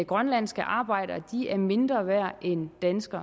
grønlandske arbejdere er mindre værd end danske